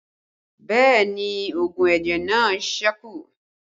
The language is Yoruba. Bẹẹ ni oògùn ẹ̀jẹ̀ náà sẹ́kù